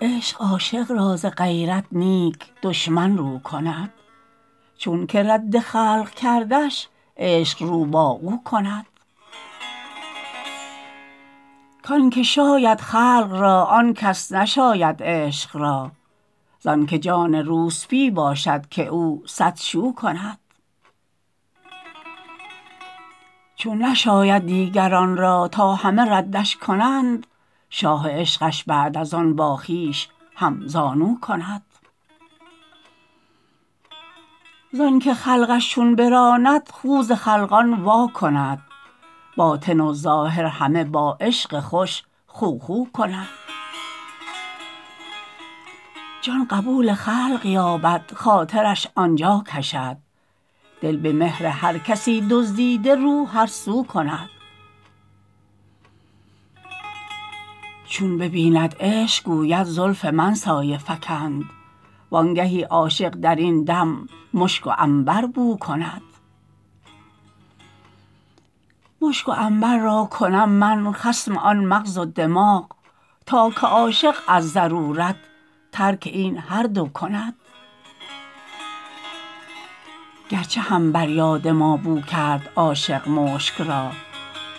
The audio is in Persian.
عشق عاشق را ز غیرت نیک دشمن رو کند چونک رد خلق کردش عشق رو با او کند کانک شاید خلق را آن کس نشاید عشق را زانک جان روسپی باشد که او صد شو کند چون نشاید دیگران را تا همه ردش کنند شاه عشقش بعد از آن با خویش همزانو کند زانک خلقش چون براند خو ز خلقان واکند باطن و ظاهر همه با عشق خوش خو خو کند جان قبول خلق یابد خاطرش آن جا کشد دل به مهر هر کسی دزدیده رو هر سو کند چون ببیند عشق گوید زلف من سایه فکند وانگهی عاشق در این دم مشک و عنبر بو کند مشک و عنبر را کنم من خصم آن مغز و دماغ تا که عاشق از ضرورت ترک این هر دو کند گرچه هم بر یاد ما بو کرد عاشق مشک را